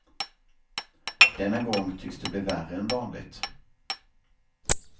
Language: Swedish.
Denna gång tycks det bli värre än vanligt.